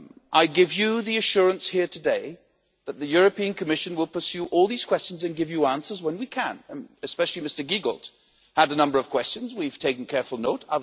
I give you the assurance here today that the European Commission will pursue all these questions and give you answers when we can, especially Mr Giegold had a number of questions we've taken careful note.